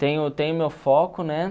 Tenho tenho meu foco, né?